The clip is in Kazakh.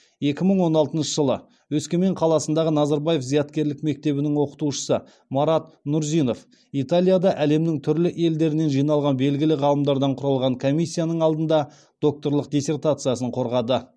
екі мың он алтыншы жылы өскемен қаласындағы назарбаев зияткерлік мектебінің оқытушысы марат нұрзинов италияда әлемнің түрлі елдерінен жиналған белгілі ғалымдардан құралған комиссияның алдында докторлық диссертациясын қорғады